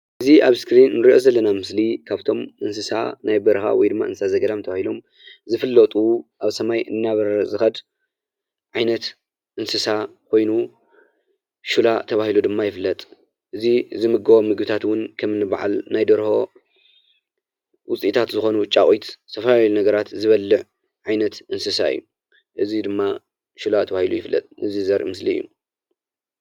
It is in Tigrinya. እዚ ኣብ እስክሪን እንሪኦ ዘለና ምስሊ ካብቶም እንስሳ ናይ በረኻ ወይ ድማ እንስሳ ዘገዳም ተባሂሎም ዝፍለጡ ኣብ ሰማይ እናበረረ ዝኸድ ዓይነት እንስሳ ኮይኑ ሽላ ተባሂሉ ድማ ይፍለጥ። እዚ ዝምገቦም ምግብታት እዉን ከምኒ በዓል ናይ ደርሆ ዉፅኢታት ዝኾኑ ጫቚት ዝተፈላለዩ ነገራት ዝበልዕ ዓይነት እንስሳ እዩ። እዚ ድማ ሽላ ተባሂሉ ይፍለጥ። እዚ ዘርኢ ምስሊ እዩ።